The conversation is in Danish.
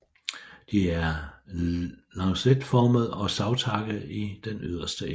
De er lancetformede og savtakkede i den yderste ende